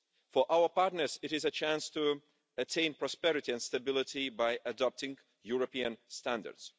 For our partners it is a chance to attain prosperity and stability by adopting European standards.